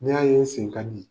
N'a ye n sen ka di